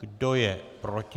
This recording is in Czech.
Kdo je proti?